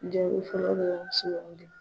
Jaabi fɔlɔ dɔrɔn sugandi.